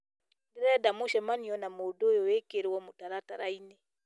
ndĩrenda mũcemanio na mũndũ ũyũ wĩkĩrwo mũtaratara -inĩ